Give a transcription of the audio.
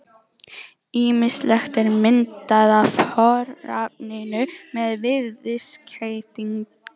Ýmislegur er myndað af fornafninu með viðskeytinu-